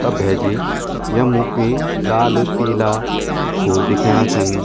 त भैजी यम्मु क्वि लाल पीला फूल देखेंणा छन।